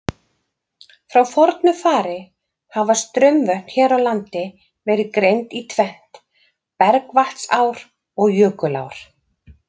Frá fornu fari hafa straumvötn hér á landi verið greind í tvennt, bergvatnsár og jökulár.